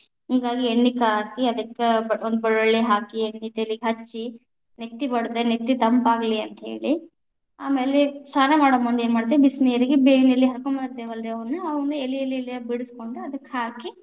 ಹಿಂಗಾಗಿ ಎಣ್ಣಿ ಕಾಸಿ ಅದಕ್ಕ ಬ ಒಂದ ಬಳ್ಳೊಳ್ಳಿ ಹಾಕಿ ಎಣ್ಣಿ ತಲಿಗ ಹಚ್ಚಿ ನೆತ್ತಿಗ್‌ ಬಡದ್ರ, ನೆತ್ತಿ ತಂಪಾಗಲಿ ಅಂತ ಹೇಳಿ, ಆಮೇಲೆ ಸ್ನಾನಾ ಮಾಡೊ ಮುಂದ ಏನ್‌ ಮಾಡ್ತೀವಿ ಬಿಸಿನೀರಿಗೆ ಬೇವಿನ ಎಲೆ ಹಾಕೊಂಡ ಎಲಿಎಲಿಎಲಿಯಾಗಿ ಬಿಡಿಸ್ಕೊಂಡ ಅದಕ್ಕ ಹಾಕಿ.